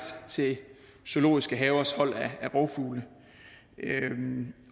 til zoologiske havers hold af rovfugle